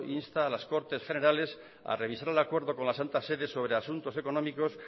insta a las cortes generales a revisar el acuerdo con la santa sede sobre asuntos económicos